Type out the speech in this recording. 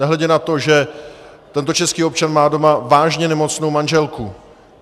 Nehledě na to, že tento český občan má doma vážně nemocnou manželku.